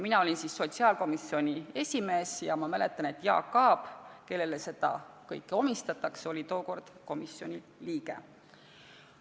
Mina olin siis sotsiaalkomisjoni esimees ja ma mäletan, et Jaak Aab, kellele seda praegu omistatakse, oli tookord komisjoni liige.